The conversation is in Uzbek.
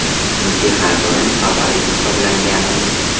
Chunki har doim favorit hisoblanganmiz.